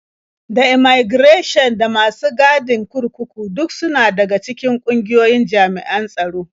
Da immaigirashin da masu gadin kurkuku duk suna daga cikin ƙungiyoyin jami'an tsaro.